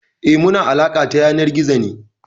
Eh, muna alaƙa ta yanar gizo ne.